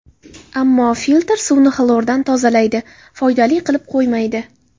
Ammo filtr suvni xlordan tozalaydi, foydali qilib qo‘ymaydi.